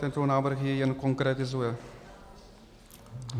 Tento návrh ji jen konkretizuje.